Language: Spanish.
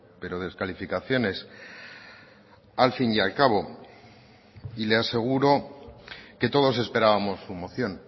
pero descalificaciones al fin y al cabo y le aseguro que todos esperábamos su moción